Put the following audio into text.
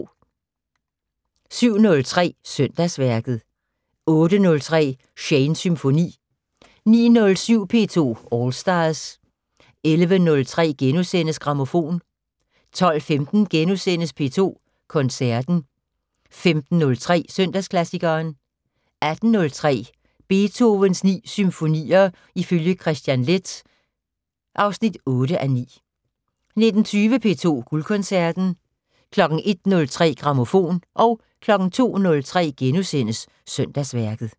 07:03: Søndagsværket 08:03: Shanes Symfoni 09:07: P2 All Stars 11:03: Grammofon * 12:15: P2 Koncerten * 15:03: Søndagsklassikeren 18:03: Beethovens 9 symfonier ifølge Kristian Leth (8:9) 19:20: P2 Guldkoncerten 01:03: Grammofon 02:03: Søndagsværket *